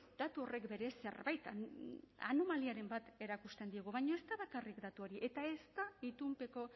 datu horrek berez zerbaiten anomaliaren bat erakusten digu baino ez da bakarrik datu hori eta ez da itunpeko